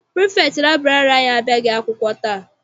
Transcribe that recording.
Pirifektị laịbụrarị abịaghị akwụkwọ taa.